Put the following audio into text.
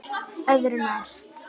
Öðru nær!